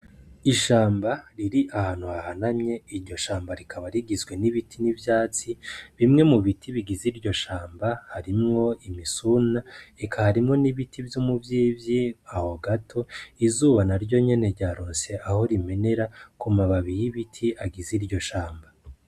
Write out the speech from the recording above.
Ishamba riri ahantu hahanamye iryo shamba rikaba rigizwe n'ibiti n'ivyatsi bimwe mubiti bigize iryo shamba harimwo imisuna eka harimwo n'ibiti vyu muvyivyi aho gato izuba naryo nyene ryaronse aho rimenera kumababi y'ibiti agize iryo shamba.